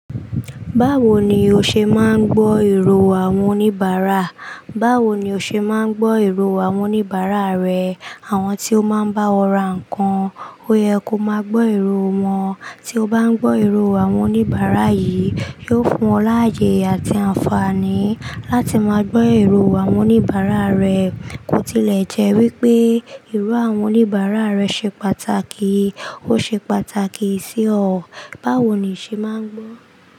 Báwo ni o ṣe máa ń gbọ́ èrò àwọn oníbàárà? Báwo ni o ṣe máa ń gbọ́ èrò àwọn oníbàárà rẹ? Àwọn tí ó máa ń bá ọ ra nǹkan, ó yẹ kó máa gbọ́ èrò wọn. Tí o bá ń gbọ́ èrò àwọn oníbàárà yìí, yóò fún ọ láàyè àti àǹfààní. Láti máa gbọ́ èrò àwọn oníbàárà rẹ, kò tilẹ̀ jẹ́ wípé èrò àwọn oníbàárà rẹ ṣe pàtàkì, ó ṣe pàtàkì sí ọ. Báwo ni o ṣe máa ń gbọ́?